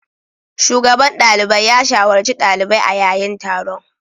Shugaban dalibai ya shawarci dalibai a yayin taron.